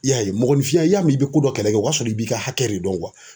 I y'a ye mɔgɔninfinya i y'a mɛ i bɛ ko dɔ kɛlɛ kɛ o y'a sɔrɔ i b'i ka hakɛ de dɔn .